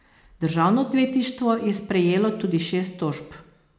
Državno odvetništvo je prejelo tudi šest tožb.